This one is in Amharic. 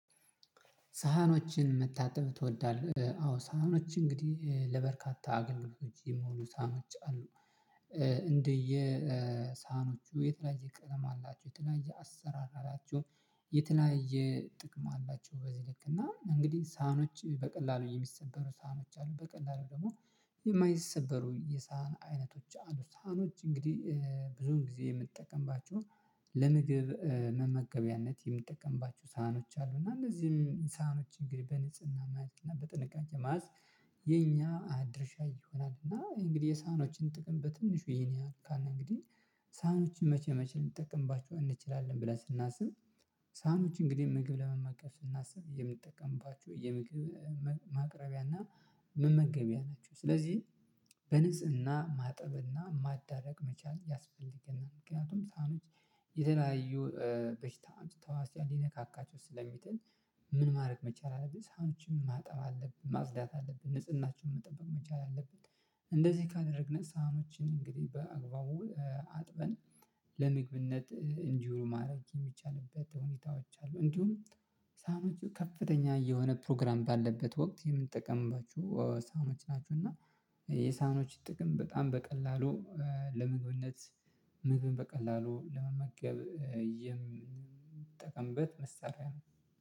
ሳህኖችን መታጠብ ትወዳለህ? አዎ ሳህኖች እንግዲህ ለበርካታ አገልግሎቶች የሞሉ ሳህኖች አሉ። እንደየ ሳህኖቹ የተለያየ ቀለም አላቸው የተለያየ አሰራር አላችው የተለያየ ጥቅም አላቸው በዚህ ልክ እና እንግዲህ ሳህኖች በቀላሉ የሚሰበሩ ሳህኖች አሉ በቀላሉ ደግሞ የማይሰበሩ የሳህን አይነቶች አሉ። ሳህኖች እንግዲህ ብዙን ጊዜ የምትጠቀምባችሁ ለምግብ መመገቢያነት የምትጠቀምባችሁ ሳህኖች አሉ እና እነዚህም ሳህኖች እንግዲህ በንጽህና ማህበርና በጥንቃቄ ማዕዝ የኛ ድርሻ ይሆናል እና እንግዲህ የሳኖችን ጥቅም በትንሹ ይሄን ያህል ካልን እንግዲህ ሳኖችን መቼ መቼ ልንጠቀምባቸው እንችላለን? ብለን ስናስብ ሳኖች እንግዲህ ምግብ ለመመገብ ስናስብ የምጠቀምባችሁ የምግብ ማቅረቢያና መመገቢያ ናቸው ስለዚህ በንፅዕና ማጠብና ማዳረቅ መቻል ያስፈልገናል። ምክንያቱም ሳህኖች የተለያዩ በሽታ ተዋስተን ሊነካካቸው ስለሚጥል ምን ማድረግ መቻል አለብን ሳህኖችን ማጠብ አለብን ማጽዳት አለብን ንጽህናቸውን መጠበቅ መቻል አለብን። እንደዚህ ካደረግን ሳህኖችን እንግዲህ በአግባቡ አጥበን ለምግብነት እንዲሁ ማድረግ የሚቻልበት ሁኔታዎች አሉ እንዲሁም ሳሀኖቹ ከፍተኛ የሆነ ፕሮግራም ባለበት ወቅት የምንጠቀምባችሁ ሳኖች ናችሁ እና የሳኖች ጥቅም በጣም በቀላሉ ለመግብነት ምግብን በቀላሉ ለመመገብ የምጠቀምበት መሳሪያ ነው።